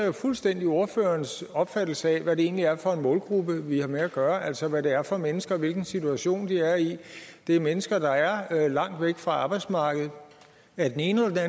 jo fuldstændig ordførerens opfattelse af hvad det egentlig er for en målgruppe vi har med at gøre altså hvad det er for mennesker og hvilken situation de er i det er mennesker der er langt væk fra arbejdsmarkedet af den ene eller